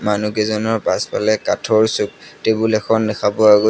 মানুহকেইজনৰ পাছফালে কাঠৰ টেবুল এখন দেখা পোৱা গৈ